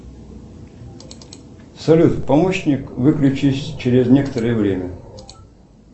салют помощник выключись через некоторое время